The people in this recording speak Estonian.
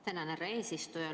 Tänan, härra eesistuja!